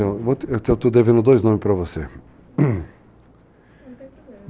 Eu estou devendo dois nomes para você não tem problema.